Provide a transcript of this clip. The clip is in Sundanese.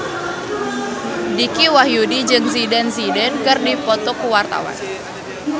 Dicky Wahyudi jeung Zidane Zidane keur dipoto ku wartawan